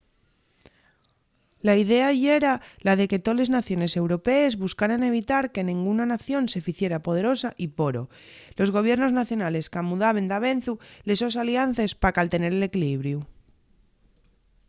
la idea yera la de que toles naciones europees buscaran evitar que nenguna nación se ficiera poderosa y poro los gobiernos nacionales camudaben davezu les sos aliances pa caltener l’equilibriu